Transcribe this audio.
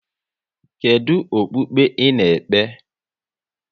Kedụ okpukpe ị na-ekpe?